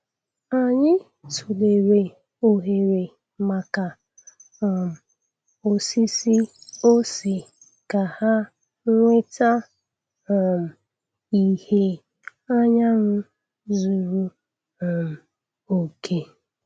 Anyị tụlere oghere maka um osisi ose ka ha nweta um ìhè anyanwụ zuru um oke.